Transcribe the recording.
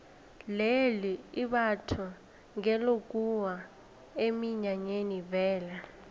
leli imbatho ngelokuya eminyanyeni vele